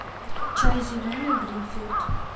чай зеленый гринфилд